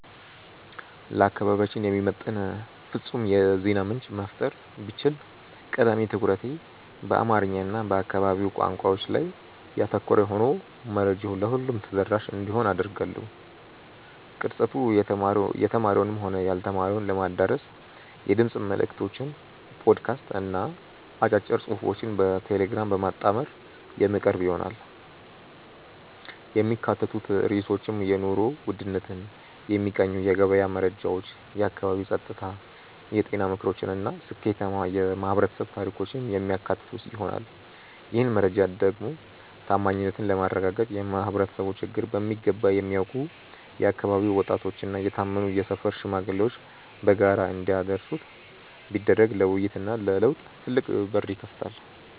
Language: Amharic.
ለአካባቢያችን የሚመጥን ፍጹም የዜና ምንጭ መፍጠር ብችል፣ ቀዳሚ ትኩረቱ በአማርኛ እና በአካባቢው ቋንቋዎች ላይ ያተኮረ ሆኖ መረጃው ለሁሉም ተደራሽ እንዲሆን አደርጋለሁ። ቅርጸቱ የተማረውንም ሆነ ያልተማረውን ለማዳረስ የድምፅ መልዕክቶችን (ፖድካስት) እና አጫጭር ጽሑፎችን በቴሌግራም በማጣመር የሚቀርብ ይሆናል። የሚካተቱት ርዕሶችም የኑሮ ውድነትን የሚቃኙ የገበያ መረጃዎች፣ የአካባቢ ጸጥታ፣ የጤና ምክሮች እና ስኬታማ የማኅበረሰብ ታሪኮችን የሚያካትቱ ይሆናል። ይህን መረጃ ደግሞ ታማኝነትን ለማረጋገጥ የማኅበረሰቡን ችግር በሚገባ የሚያውቁ የአካባቢው ወጣቶችና የታመኑ የሰፈር ሽማግሌዎች በጋራ እንዲያደርሱት ቢደረግ ለውይይትና ለለውጥ ትልቅ በር ይከፍታል።